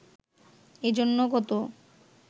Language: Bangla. এ জন্য গত